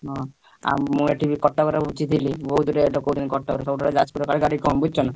ହଁ ଆଉ ମୁଁ ଏଇଠି ବୁଝିଥିଲି କଟକ ରେ ।